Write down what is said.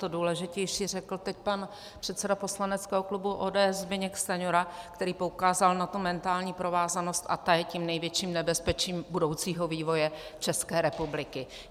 To důležitější řekl teď pan předseda poslaneckého klubu ODS Zbyněk Stanjura, který poukázal na tu mentální provázanost, a ta je tím největším nebezpečím budoucího vývoje České republiky.